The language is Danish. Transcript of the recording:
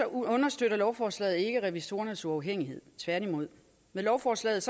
understøtter lovforslaget ikke revisorernes uafhængighed tværtimod med lovforslaget